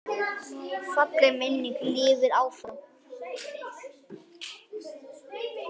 Falleg minning lifir áfram.